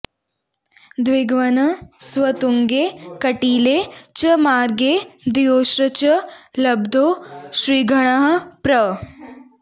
द्विघ्नः स्वतुङ्गे कटिले च मार्गे द्वयोश्च लब्धौ त्रिगणः प्र